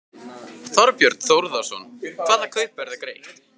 Þorbjörn Þórðarson: Hvaða kaupverð er greitt?